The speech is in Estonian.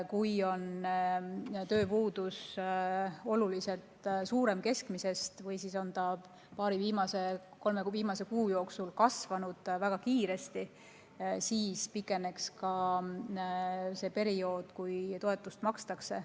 Kui tööpuudus on keskmisest oluliselt suurem või viimase paari-kolme kuu jooksul väga kiiresti kasvanud, siis pikeneks ka periood, kui toetust makstakse.